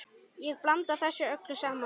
Ég blanda þessu öllu saman.